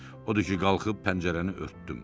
Odur ki, qalxıb pəncərəni örtdüm.